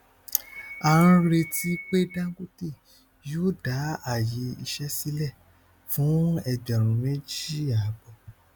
a ń retí pé dangote yóò dá àyè iṣẹ sílẹ fún ẹgbẹrún méjì àbọ